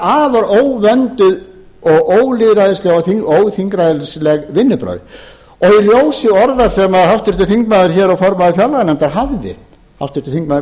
afar óvönduð og ólýðræðisleg og óþingræðisleg vinnubrögð í ljósi orða sem háttvirtur þingmaður hér og formaður fjárlaganefndar hafði háttvirtir þingmenn